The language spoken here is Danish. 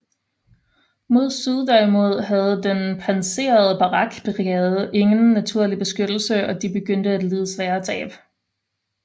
Mod syd derimod havde den pansrede Barak brigade ingen naturlig beskyttelse og de begyndte at lide svære tab